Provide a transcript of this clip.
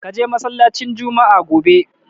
Ka je masallacin Jumma'a gobe!